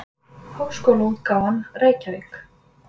Háskólaútgáfan, Reykjavík.